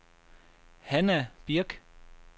Hanna Birk